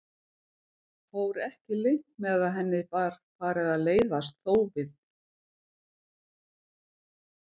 Fór ekki leynt með að henni var farið að leiðast þófið.